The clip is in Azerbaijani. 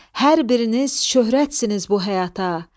Hər biriniz şöhrətsiniz bu həyata.